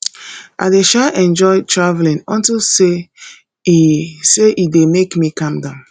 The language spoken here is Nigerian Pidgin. i dey um enjoy traveling unto say e say e dey make me calm down